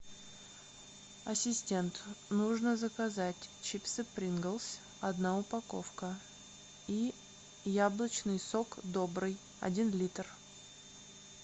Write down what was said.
ассистент нужно заказать чипсы принглс одна упаковка и яблочный сок добрый один литр